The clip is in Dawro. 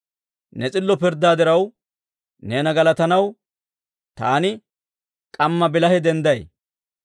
Ne s'illo pirddaa diraw, neena galatanaw, taani k'amma bilahe dendday.